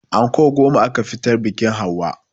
Anko goma aka fitar biƙin hauwa